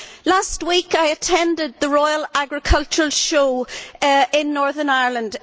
Last week, I attended the Royal Agricultural Show in Northern Ireland.